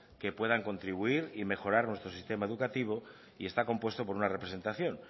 que puedan contribuir y mejorar nuestro sistema educativo y está compuesto por una representación